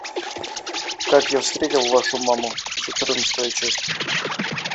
как я встретил вашу маму четырнадцатая часть